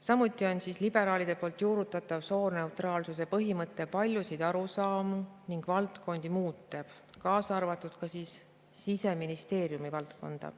Samuti on liberaalide juurutatav sooneutraalsuse põhimõte paljusid arusaamu ning valdkondi muutev, muutes ka Siseministeeriumi valdkonda.